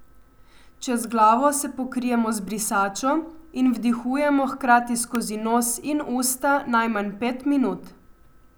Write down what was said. Čez glavo se pokrijemo z brisačo in vdihujemo hkrati skozi nos in usta najmanj pet minut.